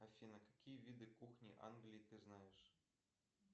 афина какие виды кухни англии ты знаешь